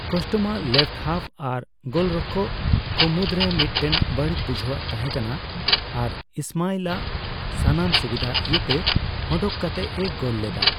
ᱠᱟᱥᱴᱢᱟᱜ left half ᱟᱨ ᱜᱳᱞᱨᱠᱷᱚᱠ ᱠᱚ ᱢᱩᱫᱨᱮ ᱢᱤᱫᱴᱮᱱ ᱵᱟᱹᱲᱤᱡ ᱵᱩᱡᱷᱣᱟᱹ ᱛᱟᱦᱮ ᱠᱟᱱᱟ ᱟᱨ ᱤᱥᱢᱟᱤᱞ ᱟᱜ ᱥᱟᱱᱟᱢ ᱥᱩᱵᱤᱫᱷ ᱤᱭᱟᱹᱛᱮ, ᱚᱱᱰᱩᱝ ᱠᱟᱛᱮ ᱮ ᱜᱳᱞ ᱞᱮᱫᱟ ᱾